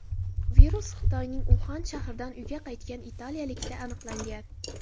Virus Xitoyning Uxan shahridan uyiga qaytgan italiyalikda aniqlangan .